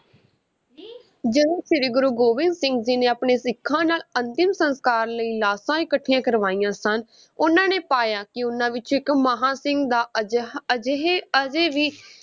ਜਦੋਂ ਸ਼੍ਰੀ ਗੁਰੂ ਗੋਬਿੰਦ ਸਿੰਘ ਜੀ ਨੇ ਆਪਣੇ ਸਿੱਖਾਂ ਨਾਲ ਅੰਤਿਮ ਸੰਸਕਾਰ ਲਈ ਲਾਸ਼ਾਂ ਇਕੱਠੀਆਂ ਕਰਵਾਈਆਂ ਸਨ, ਉਨ੍ਹਾਂ ਨੇ ਪਾਇਆ ਕਿ ਉਨ੍ਹਾਂ ਵਿੱਚੋਂ ਇੱਕ ਮਹਾਂ ਸਿੰਘ ਦਾ ਅਜਿਹਾ ਅਜਿਹੇ ਅਜੇ ਵੀ